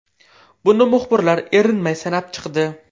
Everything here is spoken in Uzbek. Buni muxbirlar erinmay sanab chiqdi.